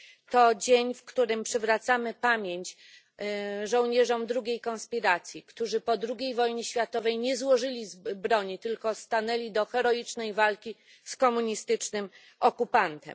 To dzień, w którym przywracamy pamięć żołnierzom drugiej konspiracji, którzy po drugiej wojnie światowej nie złożyli broni, tylko stanęli do heroicznej walki z komunistycznym okupantem.